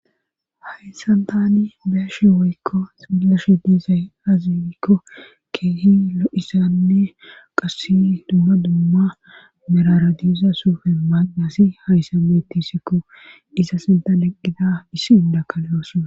hayssan tani be'ashe woykko smillashe diizay azikko keehi lo7isanne qasse dumma dumma meraradiiza sufe maaqasi hayssa bettisikko iza sinta leqqida issi undakaleyooso